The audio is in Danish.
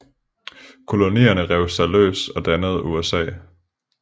Kolonierne rev sig løs og dannede USA